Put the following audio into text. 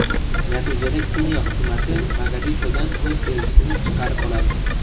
Natijada Keniya hukumati Mogadishodan o‘z elchisini chaqirib oladi.